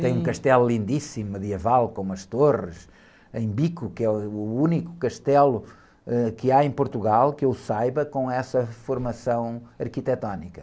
Tem um castelo lindíssimo, medieval, com umas torres em bico, que é o único castelo, ãh, que há em Portugal, que eu saiba, com essa formação arquitetônica.